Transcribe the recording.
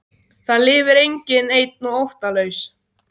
Það lifir enginn einn og óttalaus.